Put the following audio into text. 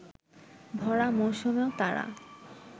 ভরা মৌসুমেও তারা